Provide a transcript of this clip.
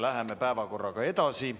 Läheme päevakorraga edasi.